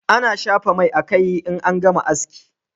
A na shafa mai a kai in an gama haski